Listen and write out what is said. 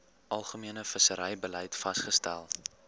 algemene visserybeleid vasgestel